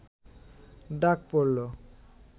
ডাক পড়ল